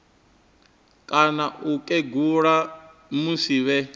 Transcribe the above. kana u kegula musi vhe